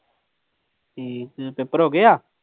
ਠੀਕ, ਪੇਪਰ ਹੋ ਗਏ ਆ?